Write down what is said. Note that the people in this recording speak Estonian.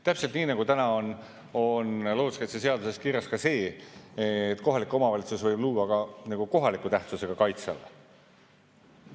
Täpselt nii, nagu täna on looduskaitseseaduses kirjas ka see, et kohalik omavalitsus võib luua ka kohaliku tähtsusega kaitseala.